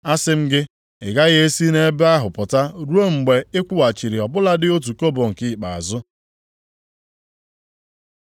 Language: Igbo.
Asị m gị, ị gaghị e si nʼebe ahụ pụta ruo mgbe ị kwụghachiri ọ bụladị otu kobo nke ikpeazụ.”